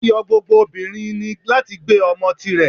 Ayo gbógbó obinrín ni latí gbé omò tí rè